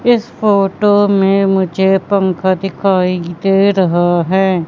इस फोटो मे मुझे पंखा दिखाई दे रहा हैं।